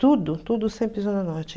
Tudo, tudo sempre Zona Norte.